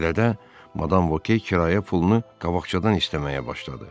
Belə də madam Voke kirayə pulunu qabaqcadan istəməyə başladı.